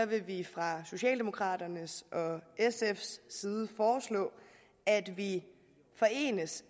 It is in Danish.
vil vi fra socialdemokraternes og sfs side foreslå at vi